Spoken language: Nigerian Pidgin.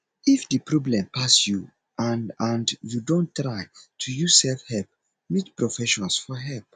if di problem pass you and and you don try to use self help meet professions for help